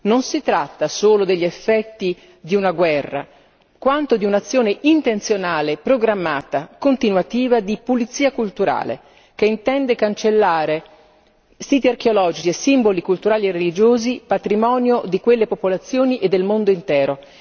Non si tratta solo degli effetti di una guerra, quanto di un'azione intenzionale, programmata, continuativa di pulizia culturale che intende cancellare siti archeologici e simboli culturali e religiosi patrimonio di quelle popolazioni e del mondo intero.